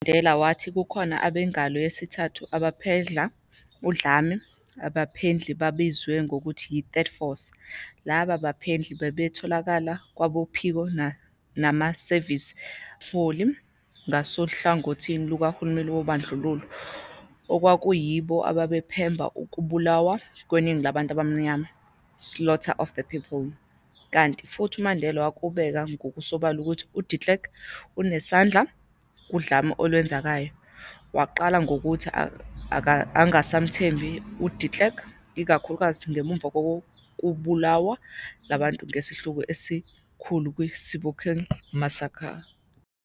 UMandela wathi kukhona abengalo yesithathu abaphendla udlame, abaphendli babaziwa ngokuthi yi-"third force" laba baphendli babetholakala kwabophiko namasevisi ezobunhloli ngasohlangothini lukahulumeni wobandlululo, okwakuyibo ababephemba ukubulawa kweningi labantu abamnyama "slaughter of the people", kanti futhi uMandela wakubeka ngokusobala ukuthi uDe Klerk unesandla kudlame olwenzekayo - waqala ngokuthi angasamethembi uDe Kleerk - ikakhulukazi ngemuva kobulawo lwabantu ngesihluku esikhulu kwi-Sebokeng massacre.